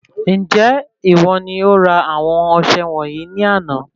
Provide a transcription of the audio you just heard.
Njẹ ìwo ni ora àwọn ọsẹ wọnyii ní àna?